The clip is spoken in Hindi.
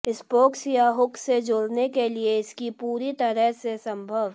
स्पोक्स या हुक से जोड़ने के लिए इसकी पूरी तरह से संभव